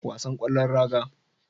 Wasan kwallon raga